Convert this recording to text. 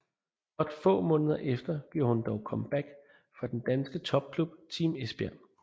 Blot få måneder efter gjorde hun dog comeback for den danske topklub Team Esbjerg